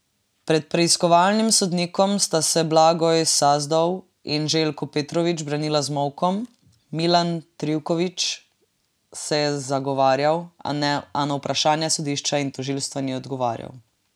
Pred preiskovalnim sodnikom sta se Blagoj Sazdov in Željko Petrović branila z molkom, Milan Trivković se je zagovarjal, a na vprašanja sodišča in tožilstva ni odgovarjal.